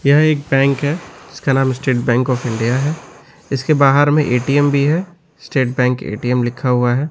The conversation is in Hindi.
यह एक बैंक है इसका नाम स्टेट बैंक ऑफ़ इंडिया है इसके बाहर में ए_टी_एम भी है स्टेट बैंक ए_टी_एम लिखा हुआ है।